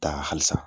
Taa halisa